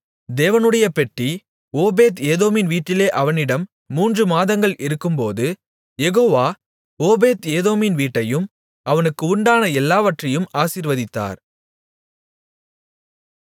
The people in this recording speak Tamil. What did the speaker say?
தேவனுடைய பெட்டி ஓபேத் ஏதோமின் வீட்டிலே அவனிடம் மூன்று மாதங்கள் இருக்கும்போது யெகோவா ஓபேத் ஏதோமின் வீட்டையும் அவனுக்கு உண்டான எல்லாவற்றையும் ஆசீர்வதித்தார்